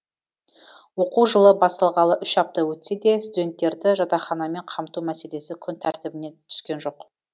оқу жылы басталғалы үш апта өтсе де студенттерді жатақханамен қамту мәселесі күн тәртібінен түскен жоқ